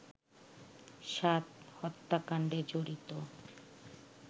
সাদ হত্যাকাণ্ডে জড়িত